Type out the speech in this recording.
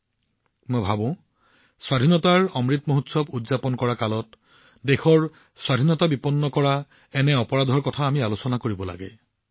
মই বিচাৰিম যে আজি আমি যি সময়ত স্বাধীনতাৰ অমৃত মহোৎসৱ উদযাপন কৰি আছো সেই সময়ত দেশৰ স্বাধীনতা বিপন্ন কৰা এনে অপৰাধ আমিও পালন কৰিব লাগিব